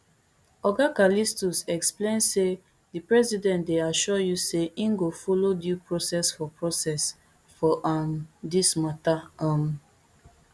oga callistus explain say di president dey assure you say im go follow due process for process for um dis matter um